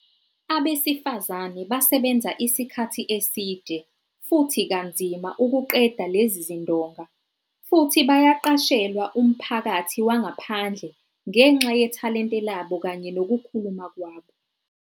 Abesifazane basebenza isikhathi eside futhi kanzima ukuqeda lezi zindonga futhi bayaqashelwa umphakathi wangaphandle ngenxa yethalente labo kanye nokukhuluma kwabo.